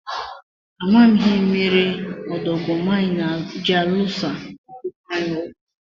A maghị m ihe merenụ ọdọgụma anyị ji alụso okụkụ anyị ọgụ.